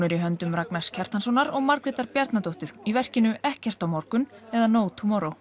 er í höndum Ragnars Kjartanssonar og Margrétar Bjarnadóttur í verkinu ekkert á morgun eða no